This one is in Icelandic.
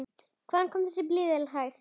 Hvaðan kom þessi blíði blær?